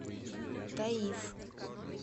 таиф